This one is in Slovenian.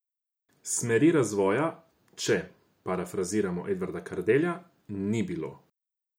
Smeri razvoja, če parafraziramo Edvarda Kardelja, ni bilo.